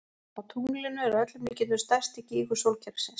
Á tunglinu er að öllum líkindum stærsti gígur sólkerfisins.